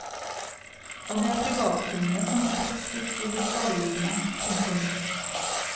Og det er privatkundene som på kort sikt vil bli skadelidende. punktum